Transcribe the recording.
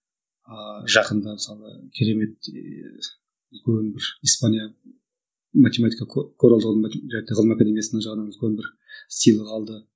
ааа жақында мысалы керемет ііі бір үлкен бір испания математика ғылым академиясының жағынынан үлкен бір сыйлық алды